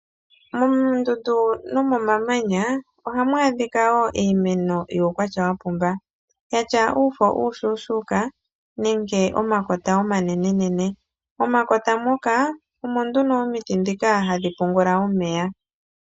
Moondundu nomomamanya, ohamu adhika wo iimeno yuukwatya wa pumba, ya tya uufo uushuushuuka nenge omakota omanenenene. Momakota moka omo nduno omiti ndhika hadhi pungula omeya.